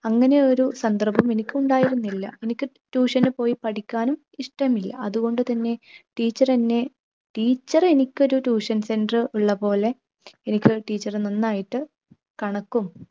അങ്ങനെ ഒരു സന്ദർഭം എനിക്കുണ്ടായിരുന്നില്ല. എനിക്ക് tuition നു പോയി പഠിക്കാനും ഇഷ്ടമില്ല. അതുകൊണ്ട് തന്നെ teacher എന്നെ teacher എനിക്കൊരു tuition center ഉള്ളപോലെ എനിക്ക് teacher നന്നായിട്ട് കണക്കും